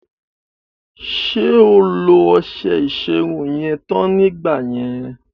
Ṣé o lo ọṣẹ ìṣerun yẹn tán nígbà yẹn?